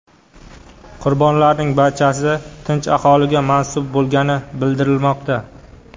Qurbonlarning barchasi tinch aholiga mansub bo‘lgani bildirilmoqda.